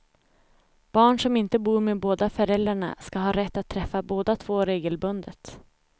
Barn som inte bor med båda föräldrarna ska ha rätt att träffa båda två regelbundet.